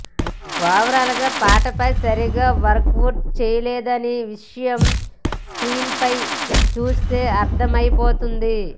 overall గా పాటపై సరిగ్గా వర్కవుట్ చేయలేదనే విషయం స్క్రీన్ పై చూస్తే అర్థమైపోతుంది